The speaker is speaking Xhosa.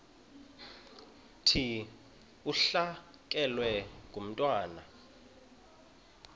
thi ulahlekelwe ngumntwana